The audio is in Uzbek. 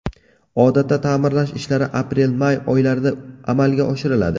Odatda ta’mirlash ishlari aprelmay oylarida amalga oshiriladi.